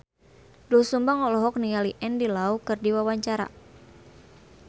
Doel Sumbang olohok ningali Andy Lau keur diwawancara